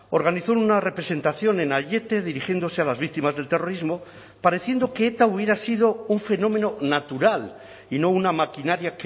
organizó una representación en aiete dirigiéndose a las víctimas del terrorismo pareciendo que eta hubiera sido un fenómeno natural y no una maquinaria